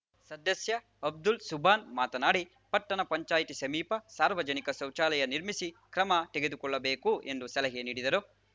ಸದಸ್ಯ ಅಬ್ದುಲ್‌ ಸುಬಾನ್‌ ಮಾತನಾಡಿ ಪಟ್ಟಣ ಪಂಚಾಯಿತಿ ಸಮೀಪ ಸಾರ್ವಜನಿಕ ಶೌಚಾಲಯ ನಿರ್ಮಿಸಿ ಕ್ರಮ ತೆಗೆದುಕೊಳ್ಳಬೇಕು ಎಂದು ಸಲಹೆ ನೀಡಿದರು